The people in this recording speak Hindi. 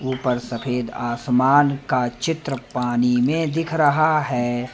ऊपर सफेद आसमान का चित्र पानी में दिख रहा है।